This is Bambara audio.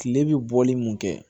Kile bɛ bɔli mun kɛ